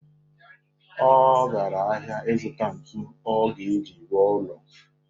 Ọ gara ahịa ịzụta ntu ọ ga-eji rụọ ụlọ.